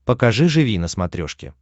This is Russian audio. покажи живи на смотрешке